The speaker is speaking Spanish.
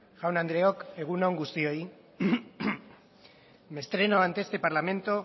jaun andreok egun on guztioi me estreno ante este parlamento